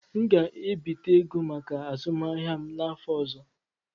M ga-ebite ego maka azụmahịa m n'afọ ọzọ.